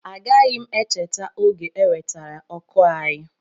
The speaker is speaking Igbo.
Agaghị m echeta oge e wetara ọkụ anyị